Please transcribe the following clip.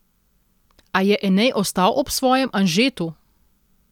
A je Enej ostal ob svojem Anžetu!